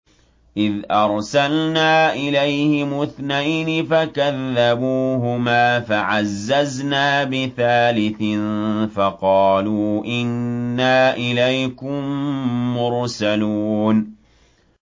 إِذْ أَرْسَلْنَا إِلَيْهِمُ اثْنَيْنِ فَكَذَّبُوهُمَا فَعَزَّزْنَا بِثَالِثٍ فَقَالُوا إِنَّا إِلَيْكُم مُّرْسَلُونَ